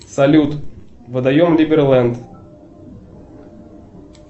салют водоем либерленд